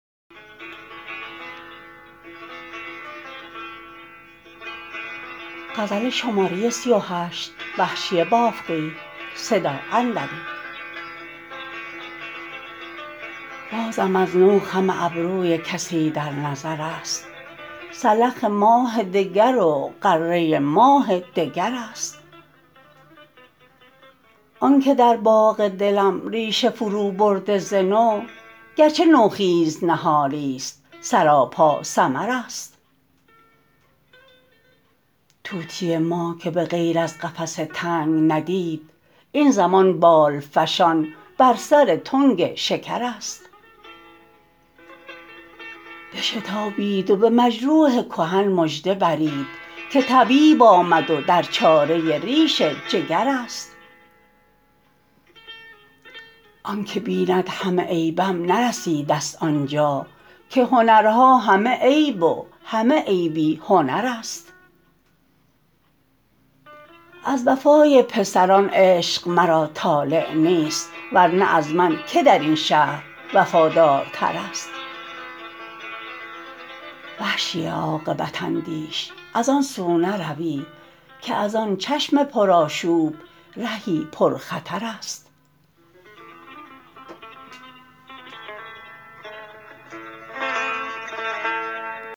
بازم از نو خم ابروی کسی در نظر است سلخ ماه دگر و غره ماه دگر است آن که در باغ دلم ریشه فرو برده ز نو گرچه نوخیز نهالیست سراپا ثمر است طوطی ما که به غیر از قفس تنگ ندید این زمان بال فشان بر سر تنگ شکر است بشتابید و به مجروح کهن مژده برید که طبیب آمد و در چاره ریش جگر است آن که بیند همه عیبم نرسیدست آن جا که هنرها همه عیب و همه عیبی هنر است از وفای پسران عشق مرا طالع نیست ورنه از من که در این شهر وفادارتر است وحشی عاقبت اندیش از آنسو نروی که از آن چشم پرآشوب رهی پرخطر است